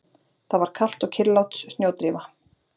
Það var kalt og kyrrlát snjódrífa.